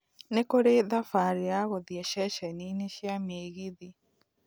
Nĩ kũrĩ thabari ya gũthiĩ ceceni-inĩ cia mĩgithi